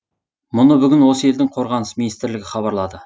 мұны бүгін осы елдің қорғаныс министрлігі хабарлады